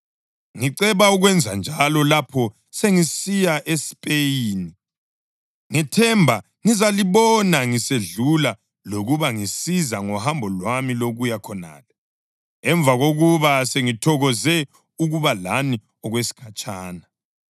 ngiceba ukwenzanjalo lapho sengisiya eSpeyini. Ngithemba ngizalibona ngisedlula lokuba lingisize ngohambo lwami lokuya khonale, emva kokuba sengithokoze ukuba lani okwesikhatshana.